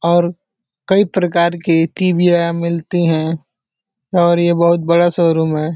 और कई प्रकार के यहाँ मिलती हैं और ये बहुत बड़ा शोरूम है।